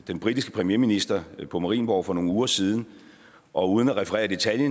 den britiske premierminister på marienborg for nogle uger siden og uden at referere i detaljer